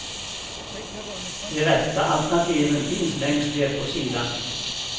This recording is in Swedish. De rätta alternativen finns längst ner på sidan.